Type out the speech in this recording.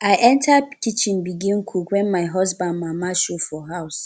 i enta kitchen begin cook wen my husband mama show for house